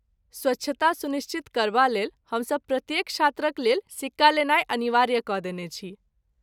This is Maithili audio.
स्वच्छता सुनिश्चित करबालेल, हमसभ प्रत्येक छात्रक लेल सिक्का लेनाइ अनिवार्य कऽ देने छी।